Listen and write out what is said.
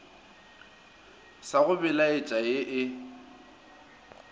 sa go belaetša ee e